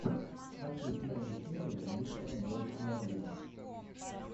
хочу первую серию мистера болд моргана